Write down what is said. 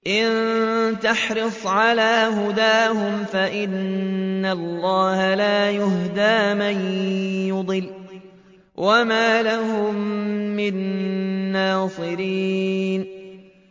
إِن تَحْرِصْ عَلَىٰ هُدَاهُمْ فَإِنَّ اللَّهَ لَا يَهْدِي مَن يُضِلُّ ۖ وَمَا لَهُم مِّن نَّاصِرِينَ